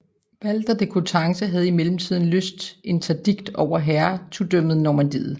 Walter de Coutances havde i mellemtiden lyst Interdikt over Hertugdømmet Normandiet